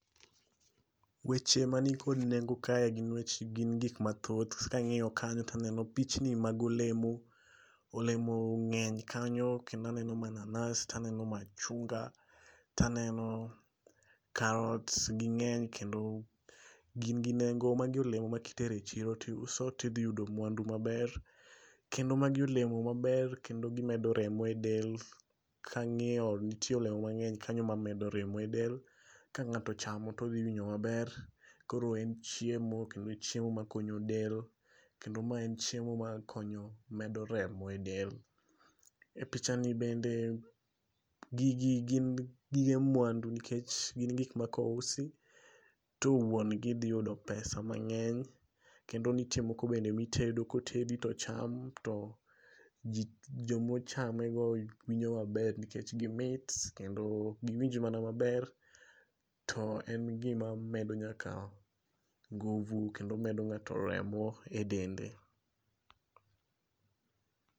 Weche mani kod nengo kae gin weche gin gik mathoth. Ka ang'iyo kanyo to aneno pichni mag olemo. Olemo ng'eny kanyo kendo aneno manas taneno machunga taneno karot. Ging'eny kendo gin gi nengo. Magi olemo ma kitero echiro tiuso tidhi yudo mwandu maber. Kendo magi olemo maber kendo gimedo remo e del. Kang'iyo nitie olemo mang'eny kanyo mamedo remo e del. Ka ng'ato ochamo todhi winjo maber. Koro en chiemo kendo chiemo makonyo del. Kendo ma en chiemo makonyo medo remo e del. E picha ni bende gigi gin gige mwandu nikech gin gik ma kousi to wuon gi dhi yudo pesa mang'eny. Kendo nitie moko bende mitedo kotedi to cham to jomochame go winjo maber nikech gimit kendo giwinjo mana maber. To en gima medo nyaka nguvu kendo medo ng'ato remo e dende.